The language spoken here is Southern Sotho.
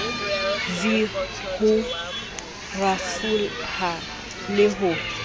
v ho rafoha le ho